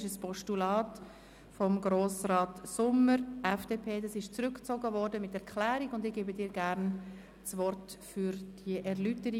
Dieses Postulat von Grossrat Sommer wird mit einer Erklärung zurückgezogen.